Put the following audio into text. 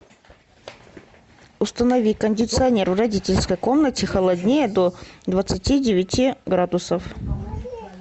установи кондиционер в родительской комнате холоднее до двадцати девяти градусов